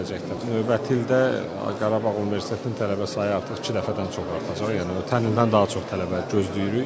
Növbəti ildə Qarabağ Universitetinin tələbə sayı artıq iki dəfədən çox artacaq, yəni ötən ildən daha çox tələbə gözləyirik.